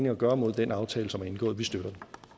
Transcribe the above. at gøre imod den aftale der er indgået vi støtter